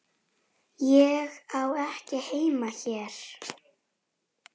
Með vitinu.